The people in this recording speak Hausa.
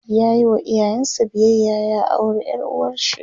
yayi wa iyayen sa biyayya ya aure ƴar uwarshi